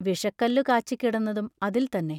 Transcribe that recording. വിഷക്കല്ലു കാച്ചിക്കിടന്നതും അതിൽത്തന്നെ.